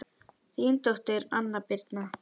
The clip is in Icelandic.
Þín dóttir, Anna Birna.